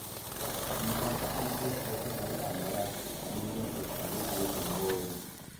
nyisa ka an kod ote moro maora manyien e sandug weche moorna